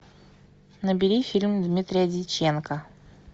набери фильм дмитрия дьяченко